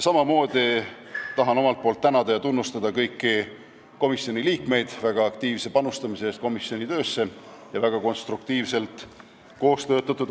Samamoodi tahan tänada ja tunnustada kõiki komisjoni liikmeid väga aktiivse panustamise eest komisjoni töösse ja konstruktiivse koostöö eest.